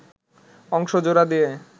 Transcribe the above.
অংশ জোড়া দিয়ে